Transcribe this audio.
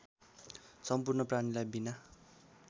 सम्पूर्ण प्राणीलाई बिना